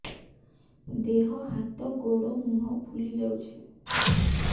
ଦେହ ହାତ ଗୋଡୋ ମୁହଁ ଫୁଲି ଯାଉଛି